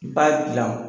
I b'a dilan